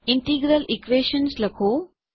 integral Equations લખો